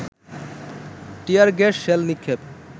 টিয়ার gas shell নিক্ষেপ